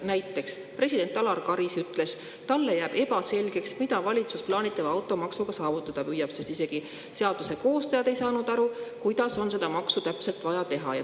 Näiteks on öelnud president Alar Karis, et talle jääb ebaselgeks, mida valitsus plaanitava automaksuga saavutada püüab, sest isegi seaduse koostajad ei saanud aru, kuidas on seda maksu täpselt vaja teha.